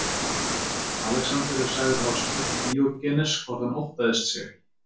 Alexander er sagður hafa spurt Díógenes hvort hann óttaðist sig ekki.